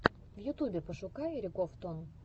в ютубе пошукай ригоф топ